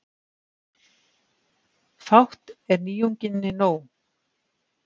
Fátt er nýjunginni nóg.